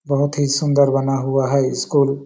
बहोत ही सुंदर बना हुआ है स्कूल --